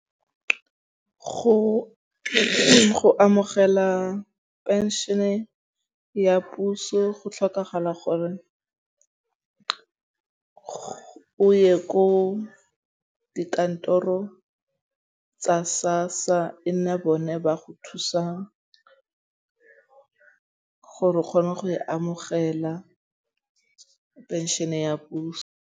Go amogela phenšhene ya puso go tlhokagala gore o ye ko dikantoro tsa SASSA or e nne bone ba go thusang gore o kgone go e amogela pension ya puso.